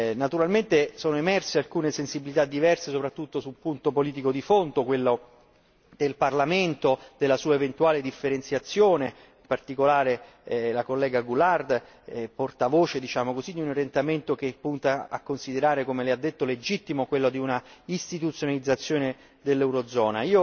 Naturalmente sono emerse alcune sensibilità diverse soprattutto su un punto politico di fondo, quello del Parlamento della sua eventuale differenziazione, in particolare l'onorevole Goulard, portavoce, diciamo così, di un orientamento che punta a considerare come lei ha detto, legittimo quello di un'istituzionalizzazione dell'eurozona.